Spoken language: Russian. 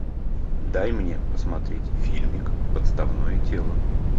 дай мне посмотреть фильмик подставное тело